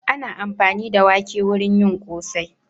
Ana amfani da wake wurin yin ƙosai.